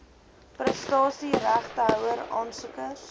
prestasie regtehouer aansoekers